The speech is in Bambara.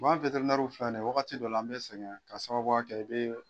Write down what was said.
An filɛ nin ye wagati dɔ la an bɛ sɛgɛn ka sababuya kɛ i bɛ